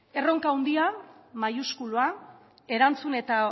erroka handia maiuskulua erantzun eta